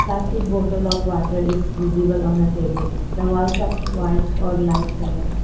plastic bottle of water is visible on a table the walls are white or lite coloured.